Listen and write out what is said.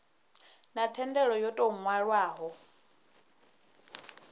na thendelo yo tou nwalwaho